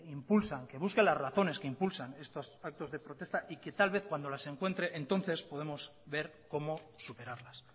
impulsan que busque las razones que impulsan estos actos de protesta y que tal vez cuando las encuentre entonces podemos ver cómo superarlas